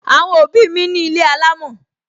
Àwọn òbí mi ní ilé alámò